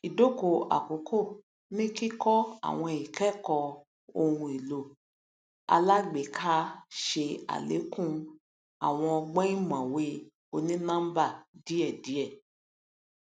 idokò àkókò ní kíkọ àwọn ikẹkọ ohun ohun èlò alágbèéká ṣe alékún àwọn ọgbọn ìmọwé onínọmbà díẹdíẹ